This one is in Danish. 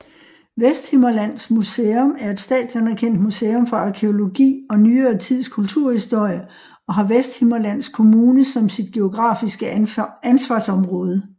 Vesthimmerlands Museum er et statsanerkendt museum for arkæologi og nyere tids kulturhistorie og har Vesthimmerlands Kommune som sit geografiske ansvarsområde